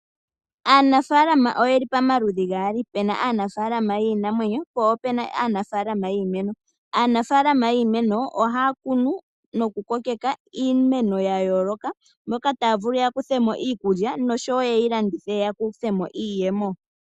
Aanafalama oyeli pamaludhi gaali puna aanafalama yiimeno noyiimuna. Aanafalama yiimeno ohaya kunu noku kokeka iimeno ya yooloka, moka taya vulu okukutha mo iikulya noshowo ye yilandithe yamone iiyemo.